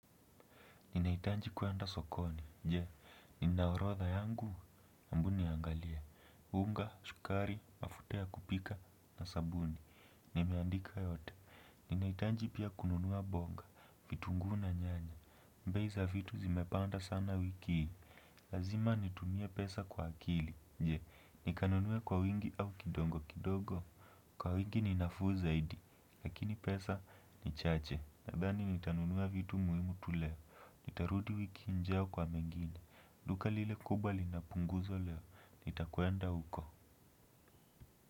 Ninaitanji kuenda sokoni. Je, ninaorodha yangu, hebu niangalie, unga, sukari, mafuta ya kupika, na sabuni. Nimeandika yote, ninaitanji pia kununua bonga, vitunguu na nyanya. Bei za vitu zimepanda sana wiki hii. Lazima nitumie pesa kwa akili. Je, nikanunue kwa wingi au kidogo kidogo? Kwa wingi ninafuu zaidi, lakini pesa ni chache, nadhani nitanunua vitu muhimu tu leo. Nitarudi wiki ijao kwa mengini. Duka lile kubwa linapunguzo leo. Nita kwenda huko.